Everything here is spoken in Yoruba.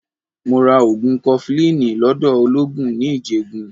Mo ra ogun kofilini lọ́dọ̀ ologun ní Ijegun.